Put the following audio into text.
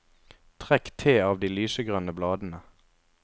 Trekk te av de lysegrønne bladene.